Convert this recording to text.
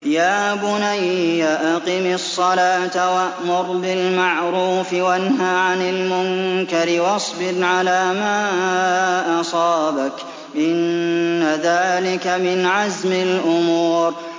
يَا بُنَيَّ أَقِمِ الصَّلَاةَ وَأْمُرْ بِالْمَعْرُوفِ وَانْهَ عَنِ الْمُنكَرِ وَاصْبِرْ عَلَىٰ مَا أَصَابَكَ ۖ إِنَّ ذَٰلِكَ مِنْ عَزْمِ الْأُمُورِ